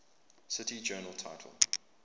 cite journal title